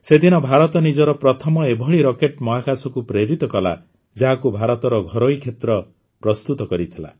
ସେ ଦିନ ଭାରତ ନିଜର ପ୍ରଥମ ଏଭଳି ରକେଟ୍ ମହାକାଶକୁ ପ୍ରେରିତ କଲା ଯାହାକୁ ଭାରତର ଘରୋଇ କ୍ଷେତ୍ର ପ୍ରସ୍ତୁତ କରିଥିଲା